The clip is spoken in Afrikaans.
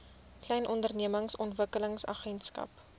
klein ondernemings ontwikkelingsagentskap